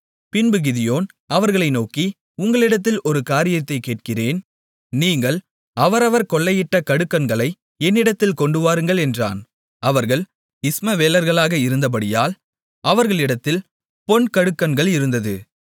பின்பு கிதியோன் அவர்களை நோக்கி உங்களிடத்தில் ஒரு காரியத்தைக் கேட்கிறேன் நீங்கள் அவரவர் கொள்ளையிட்ட கடுக்கன்களை என்னிடத்தில் கொண்டுவாருங்கள் என்றான் அவர்கள் இஸ்மவேலர்களாக இருந்தபடியால் அவர்களிடத்தில் பொன்கடுக்கன்கள் இருந்தது